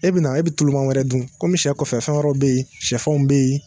E be na na be tuluman wɛrɛ dun kɔmi sɛ kɔfɛ fɛn wɛrɛw be yen sɛfanw be yen